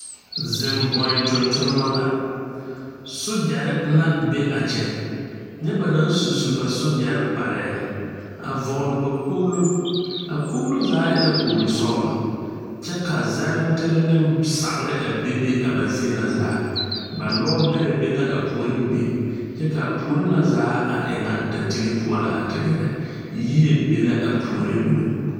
Zeŋ bɔn tontonma la. Sogyare la be a kyɛ. Nye ba naŋ su su ba sogyare kparɛ. A vogle ba kpolo. A kpolo zaa e la kpolo sɔglɔ. Kyɛ ka zɛrentere ne sagre a bebe a ba zie na zaa. Ba lɔ bɛrɛ be na a pooreŋ be kyɛ ka a poore na zaa a e na datige poʊ la a te gɛɛrɛ. Yie be la a pooreŋ meŋ